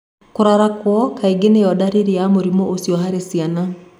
Kũrarako kaingĩ niyo dariri ya mũrimũ ucio harĩ ciana.